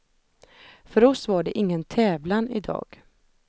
För oss var det ingen tävlan idag.